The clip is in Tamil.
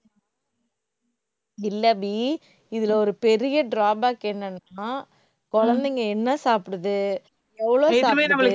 இல்ல அபி, இதுல ஒரு பெரிய drawback என்னன்னா, குழந்தைங்க என்ன சாப்பிடுது எவ்ளோ சாப்பிடுது